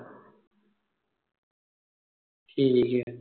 ਠੀਕ ਐ